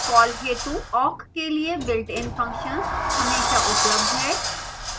call हेतु awk के लिए builtin functions हमेशा उपलब्ध हैं